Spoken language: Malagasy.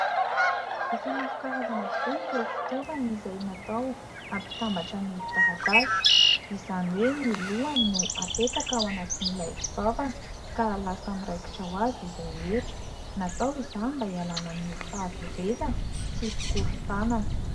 Efa maro karazana tokoa ireo fitaovana izay natao ampitambatra ny taratasy izany hoe ny lohany no apetaka ao anatin'ilay fitaovana ka lasa miraikitra ho azy izy rehetra. Natao izany mba hialana amin'ny fahaverezana sy fikorontanana.